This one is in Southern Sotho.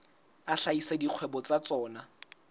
a hlahisa dikgwebo tsa tsona